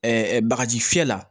bagaji fiyɛ la